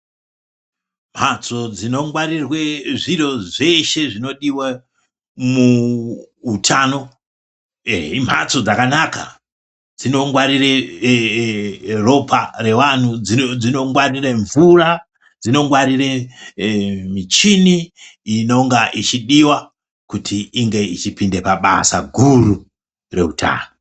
Mphatso dzinongwarirwe zviro zveshe zvinodiwe muutano eh imphatso dzakanaka dzinongwarire ropa, revanhtu dzinongwarire mvura, dzinongwarire michini inonga yechidiwa kuti ipinde pabasa guru reutano.